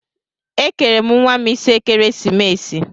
Ekere m nwa m isi ekeresimesi.